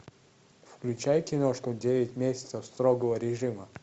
включай киношку девять месяцев строгого режима